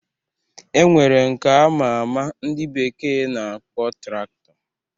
E nwere nke ama ama ndị bekee na-akpọ Traktọ